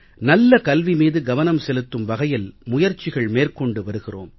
நல்ல கல்வி மீது கவனம் செலுத்தும் வகையில் முயற்சிகள் மேற்கொண்டு வருகிறோம்